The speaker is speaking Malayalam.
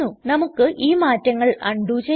നമുക്ക് ഈ മാറ്റങ്ങൾ അണ്ഡു ചെയ്യാം